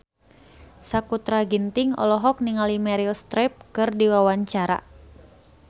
Sakutra Ginting olohok ningali Meryl Streep keur diwawancara